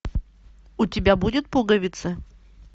у тебя будет пуговица